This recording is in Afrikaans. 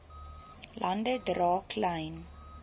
lande dra klein